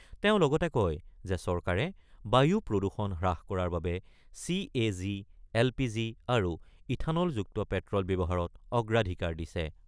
তেওঁ লগতে কয় যে চৰকাৰে বায়ু প্ৰদূষণ হ্ৰাস কৰাৰ বাবে C A G, L P G আৰু ইথানলযুক্ত পেট্ৰল ব্যৱহাৰত অগ্ৰাধিকাৰ দিছে।